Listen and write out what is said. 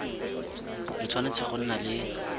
le tshwanetse go nna le